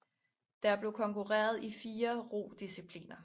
Der blev konkurreret i fire rodiscipliner